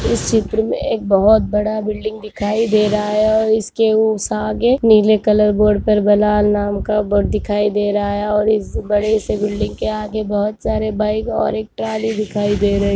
इस चित्र में एक बहोत बड़ा बिल्डिंग दिखाई दे रहा हैं। इसके आगे नील कलर बोर्ड पर बलाल नाम का बोर्ड दिखाई दे रहा हैं। और इस बड़ी बिल्डिंग के आगे बहोत सारे बाइक और एक ट्रॉली दिखाई दे रही--